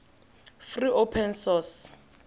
free open source